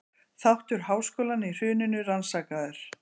Þáttur háskólanna í hruninu rannsakaður